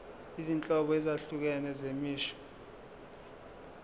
izinhlobo ezahlukene zemisho